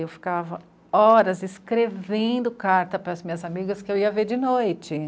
Eu ficava horas escrevendo carta para as minhas amigas que eu ia ver de noite.